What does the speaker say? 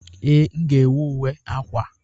Ee, m ga-ewu uwe akwa.